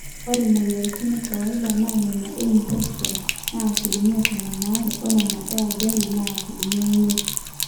ore mweyiaritin ekawaida na nena einfections naa asilimia tomon aare onena eajali naa asilimia imiet